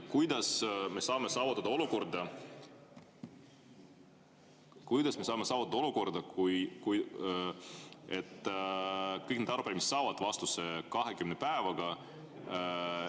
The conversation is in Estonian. Kuidas me saame saavutada olukorra, et kõik need arupärimised saavad vastuse 20 päevaga?